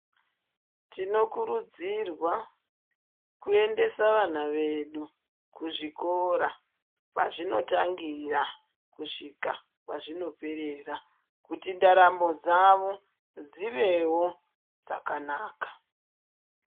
Tinokurudzira kuendesa vana vedu kuzvikora kwazvinotangira kusvika kwazvinoperera kuti ndaramo dzavo dzivewo dzakanaka.